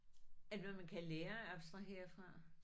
Er det noget man kan lære at abstrahere fra?